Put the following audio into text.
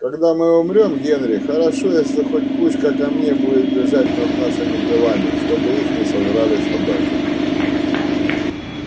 когда мы умрём генри хорошо если хоть кучка камней будет лежать над нашими телами чтобы их не сожрали собаки